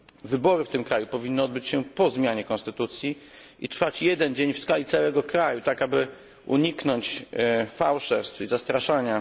Wybory w tym kraju powinny odbyć się po zmianie konstytucji i trwać jeden dzień w skali całego kraju, tak aby uniknąć fałszerstw i zastraszania.